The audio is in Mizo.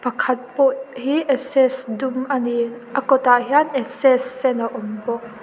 khat pawh hi access dum a ni a kawtah hian access sen a awm bawk.